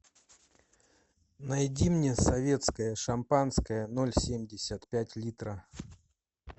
найди мне советское шампанское ноль семьдесят пять литра